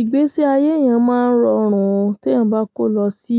Ìgbésí ayé èèyàn máa ń rọrùn tí èèyàn bá kó lọ sí